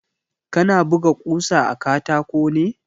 Kana buga ƙusa a katako ne?